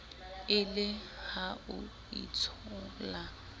e le ha o itshola